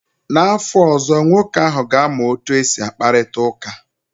N'afọ ọzọ, nwoke ahụ ga-amụ otu esi akparịta ka